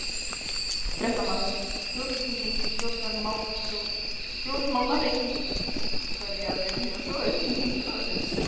Fréttamaður: Þjóðfylkingin sem stjórnmálahreyfing, hverjar eru þínar skoðanir?